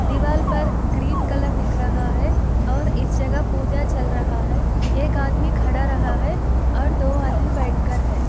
दीवाल पर green colour दिख रहा है और इस जगह पूजा चल रहा है एक आदमी खड़ा रहा है और दो आदमी बैठकर है।